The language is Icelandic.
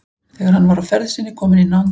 En þegar hann var á ferð sinni kominn í nánd við